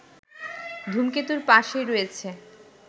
ধূমকেতুর পাশেই রয়েছে